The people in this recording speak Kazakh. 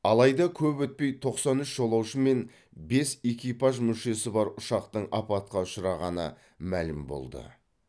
алайда көп өтпей тоқсан үш жолаушы мен бес экипаж мүшесі бар ұшақтың апатқа ұшырағаны мәлім болды